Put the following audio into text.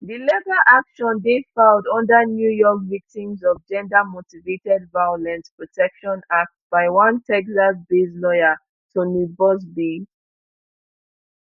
di legal action dey filed under new york victims of gendermotivated violence protection act by one texasbased lawyer tony buzbee